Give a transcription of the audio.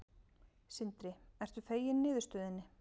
Sindri: Ertu feginn niðurstöðunni?